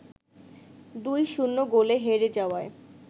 ২-০ গোলে হেরে যাওয়ায়